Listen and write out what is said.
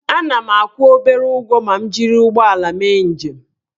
Ana m akwụ obere ụgwọ ma m jiri ụgbọala mee njem